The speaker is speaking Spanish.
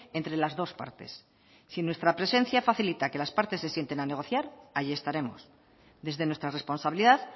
entre las dos partes si nuestra presencia facilita que las partes se sienten a negociar ahí estaremos desde nuestra responsabilidad